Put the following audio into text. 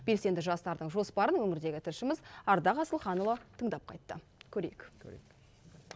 белсенді жастардың жоспарын өңірдегі тілшіміз ардақ асылханұлы тыңдап қайтты көрейік көрейік